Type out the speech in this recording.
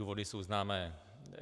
Důvody jsou známé.